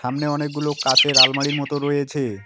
সামনে অনেকগুলো কাঁচের আলমারির মত রয়েছে।